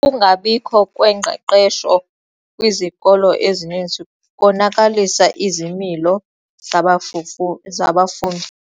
Ukungabikho kwengqeqesho kwizikolo ezininzi konakalise izimilo zabafufu zabafundi.